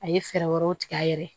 A ye fɛɛrɛ wɛrɛw tigɛ a yɛrɛ ye